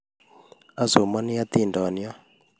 Asomani hatindiyot